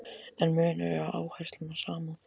En munur er á áherslum og samúð.